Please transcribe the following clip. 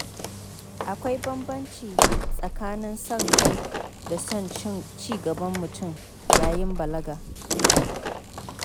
Akwai bambanci tsakanin son kai da son ci gaban mutum yayin balaga.